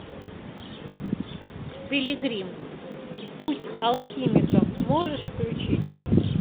пилигрим путь алхимика можешь включить